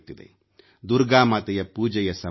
ದುರ್ಗಾ ಮಾತೆಯ ಪೂಜೆಯ ಸಮಯ ಇದು